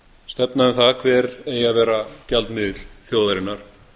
stefna um það hver eigi að vera gjaldmiðill þjóðarinnar